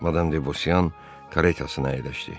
Madam Debosyan karetasına əyləşdi.